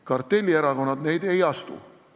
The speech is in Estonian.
Kartellierakonnad neid ei astu.